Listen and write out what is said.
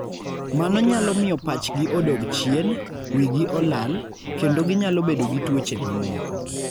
Mano nyalo miyo pachgi odog chien, wigi olal, kendo ginyalo bedo gi tuoche mamoko.